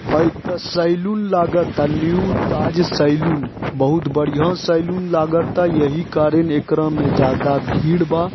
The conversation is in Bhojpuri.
हई ता सैलून लागता न्यू ताज सैलून बहुत बढ़िया सैलून लागता यही कारण एकरा मे जादा भीड़ बा।